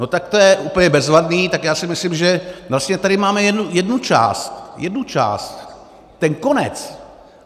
No tak to je úplně bezvadný, tak já si myslím, že vlastně tady máme jednu část, jednu část, ten konec.